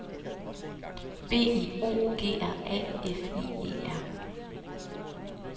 B I O G R A F I E R